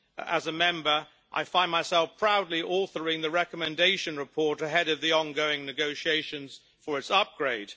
as a Member I find myself proudly authoring the recommendation report ahead of the ongoing negotiations for its upgrade.